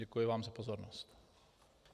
Děkuji vám za pozornost.